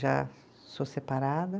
Já sou separada.